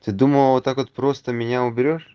ты думала вот так вот просто меня уберёшь